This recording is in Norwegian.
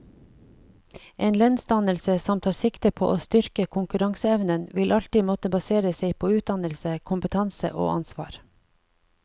En lønnsdannelse som tar sikte på å styrke konkurranseevnen, vil alltid måtte basere seg på utdannelse, kompetanse og ansvar.